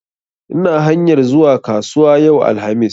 Ina hanyar zuwa kasuwa yau, alhamis